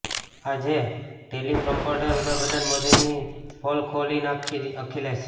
આજે ટેલિપ્રોમ્પટરે વડાપ્રધાન મોદીની પોલ ખોલી નાંખીઃ અખિલેશ